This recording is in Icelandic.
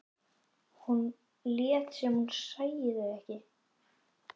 Hún lét sem hún sæi þau ekki.